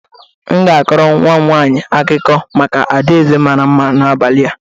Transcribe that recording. M ga-akọrọ nnwa m nwaanyị akụkọ maka adaeze mara mma n'abalị a